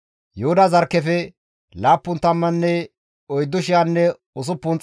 Yooseefe naa Minaase zarkkefe 32,200,